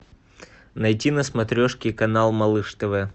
найти на смотрешке канал малыш тв